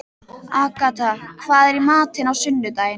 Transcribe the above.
Agatha, hvað er í matinn á sunnudaginn?